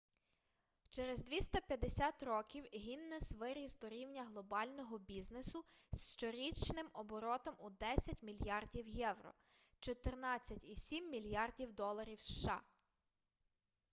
через 250 років гіннес виріс до рівня глобального бізнесу з щорічним оборотом у 10 мільярдів євро 14,7 мільярдів доларів сша